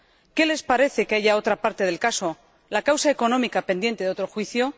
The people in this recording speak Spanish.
¿Qué les parece que haya otra parte del caso, la causa económica, pendiente de otro juicio?